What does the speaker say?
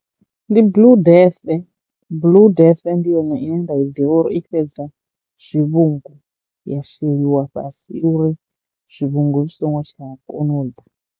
Ndi Blue Death, Blue Death ndi yone ine nda i ḓivha uri i fhedza zwivhungu ya sheliwa fhasi uri zwivhungu zwi songo tsha kono u ḓa.